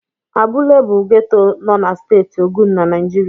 Abúlé bụ geto nọ na Steeti Ogun na Naijiria.